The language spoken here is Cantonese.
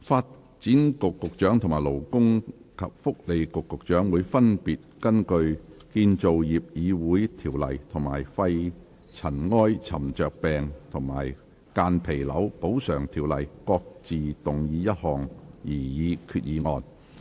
發展局局長和勞工及福利局局長會分別根據《建造業議會條例》和《肺塵埃沉着病及間皮瘤條例》各自動議一項擬議決議案。